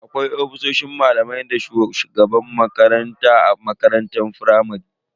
Akwai ofisoshin malamai dana shugaban makaranta a makarantar firamare.